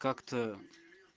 как-то